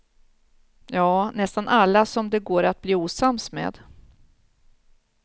Ja, nästan alla som det går att bli osams med.